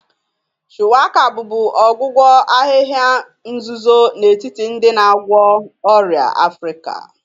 Shuwaka bụbu ọgwụgwọ ahịhịa nzuzo n'etiti ndị na-agwọ ọrịa Africa.